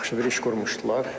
Yaxşı bir iş qurmuşdular.